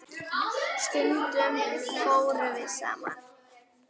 Stundum fórum við saman.